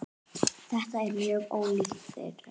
Þetta er mjög ólíkt þeirri